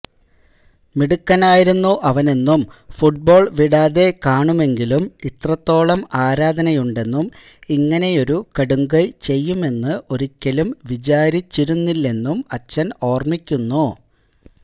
മിടുക്കനായിരുന്നു അവനെന്നും ഫുട്ബോള് വിടാതെ കാണുമെങ്കിലും ഇത്രത്തോളം ആരാധനയുണ്ടെന്നും ഇങ്ങനെയൊരു കടുംകൈ ചെയ്യുമെന്ന് ഒരിക്കലും വിചാരിച്ചിരുന്നില്ലെന്നും അച്ഛന് ഓർമ്മിക്കുന്നു